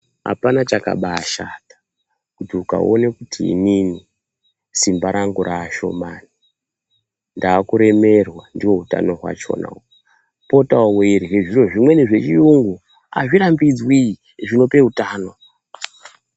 Hapana chakabaashata kuti ukaona kuti simba rangu rashomani ndakuremerwa ndiwo utano hwacho uhwu, potawo weirye zviro zvimweni zvechirungu, hazvirambidzwi , zvinope utano.